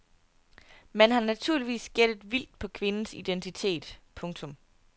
Man har naturligvis gættet vildt på kvindens identitet. punktum